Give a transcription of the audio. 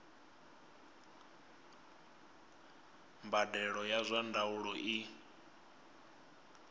mbadelo ya zwa ndaulo i